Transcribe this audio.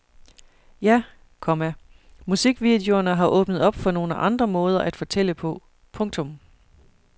Ja, komma musikvideoerne har åbnet op for nogle andre måder at fortælle på. punktum